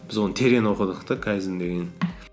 біз оны терең оқыдық та кайдзен деген